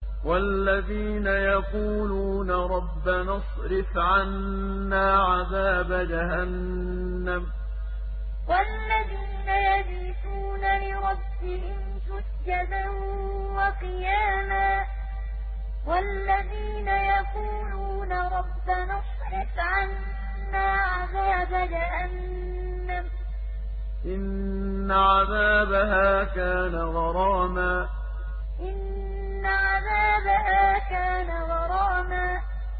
وَالَّذِينَ يَقُولُونَ رَبَّنَا اصْرِفْ عَنَّا عَذَابَ جَهَنَّمَ ۖ إِنَّ عَذَابَهَا كَانَ غَرَامًا وَالَّذِينَ يَقُولُونَ رَبَّنَا اصْرِفْ عَنَّا عَذَابَ جَهَنَّمَ ۖ إِنَّ عَذَابَهَا كَانَ غَرَامًا